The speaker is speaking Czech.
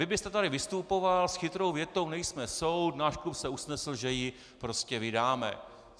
Vy byste tady vystupoval s chytrou větou: "Nejsme soud, náš klub se usnesl, že ji prostě vydáme."